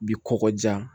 Bi kɔkɔjijan